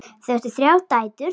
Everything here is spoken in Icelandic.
Þau áttu þrjár dætur.